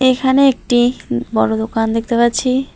এখানে একটি বড় দোকান দেখতে পাচ্ছি।